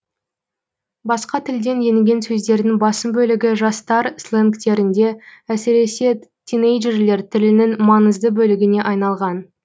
басқа тілден енген сөздердің басым бөлігі жастар сленгтерінде әсіресе тинейджерлер тілінің маңызды бөлігіне айналған